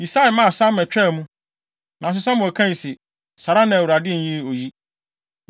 Yisai maa Sama twaa mu, nanso Samuel kae se, “Saa ara na Awurade nyii oyi.”